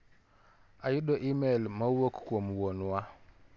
Ayudo imel ma owuok kuiom Wuon wa.